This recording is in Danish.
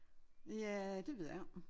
Ja det ved jeg ikke